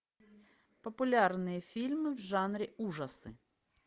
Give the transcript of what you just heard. популярные фильмы в жанре ужасы